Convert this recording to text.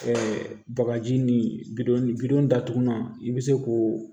bagaji ni bidon datugulan i be se k'o